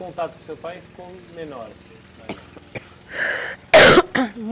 Contato com seu pai ficou menor?